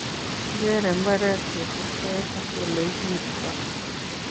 Kikerere mbaret kosibkei ak oleiburto.